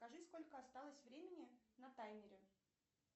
скажи сколько осталось времени на таймере